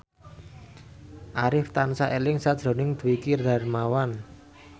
Arif tansah eling sakjroning Dwiki Darmawan